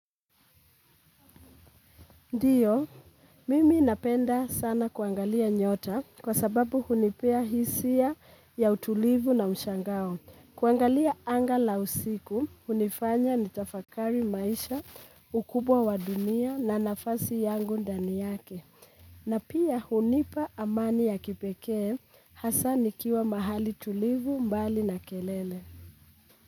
Ndiyo, mimi napenda sana kuangalia nyota kwa sababu hunipea hisia ya utulivu na mshangao. Kuangalia anga la usiku, hunifanya nitafakari maisha ukubwa wa dunia na nafasi yangu ndani yake. Na pia hunipa amani ya kipekee hasa nikiwa mahali tulivu mbali na kelele.